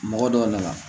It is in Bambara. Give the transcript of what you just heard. Mɔgɔ dɔw nana